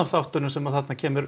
þáttunum sem kemur